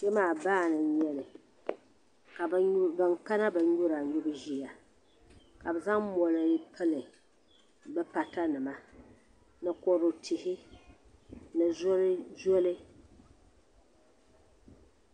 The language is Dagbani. Kpe maa baani n-nyɛ li ka ban kana binyura nyubu ʒiya ka bɛ zaŋ mɔri pili bɛ patanima ni kodu tihi ni zoli.